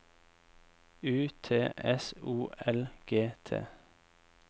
U T S O L G T